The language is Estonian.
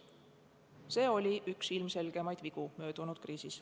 See oli möödunud kriisis üks ilmselgemaid vigu.